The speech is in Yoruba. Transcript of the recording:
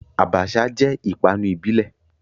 Abacha jẹ́ ìpanu ìbílẹ̀.